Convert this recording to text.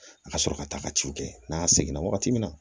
A ka sɔrɔ ka taa ka ciw kɛ n'a seginna wagati min na